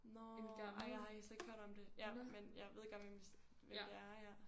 Nårh ej jeg har slet ikke hørt om det ja men jeg ved godt hvem vi hvem det er ja